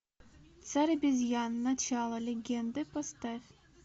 царь обезьян начало легенды поставь